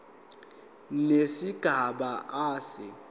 nesigaba a se